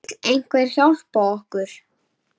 Vill einhver hjálpa okkur?